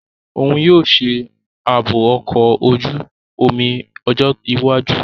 Oun yoo ṣe aabo ọkọ oju-omi ọjọ iwaju.